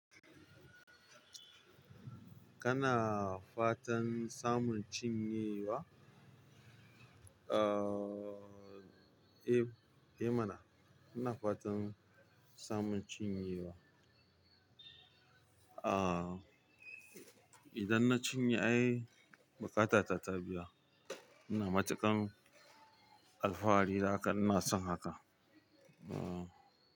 Kana fatan samun cinyewa? Aaa, eh, eh mana. Kana fatan samun cinyewa? Aaa, idan na cinye ai bukatata ta biya. Ina matuƙan alfahari da haka ina son haka. Aaa.